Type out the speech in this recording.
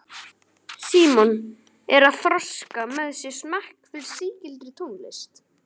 Símon er að þroska með sér smekk fyrir sígildri tónlist.